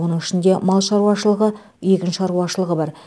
оның ішінде мал шаруашылығы егін шаруашылығы бар